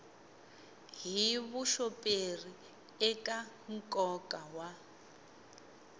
hi vuxoperi eka nkoka wa